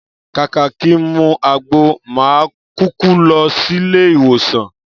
Kàkà kí n mu àgbo, mà á kuku lo̩ sílé ìwòsàn